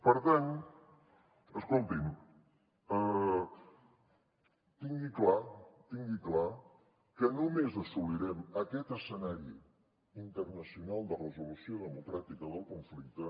per tant escolti’m tingui clar tingui ho clar que només assolirem aquest escenari internacional de resolució democràtica del conflicte